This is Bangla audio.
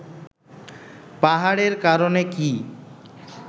পাহাড়ের কারণে কি